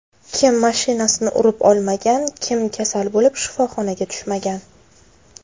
Kim mashinasini urib olmagan, kim kasal bo‘lib, shifoxonaga tushmagan.